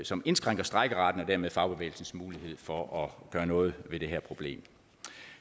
som indskrænker strejkeretten og dermed fagbevægelsens mulighed for at gøre noget ved det her problem